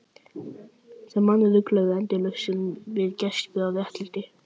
Sem menn rugluðu endalaust saman við gæsku og réttlæti.